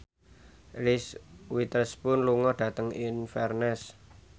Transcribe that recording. Reese Witherspoon lunga dhateng Inverness